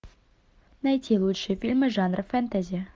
найти лучшие фильмы жанра фэнтези